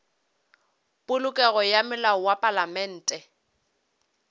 polokego ga melao ya palamente